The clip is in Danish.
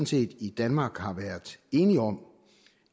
set i danmark har været enige om